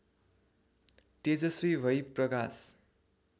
तेजस्वी भई प्रकाश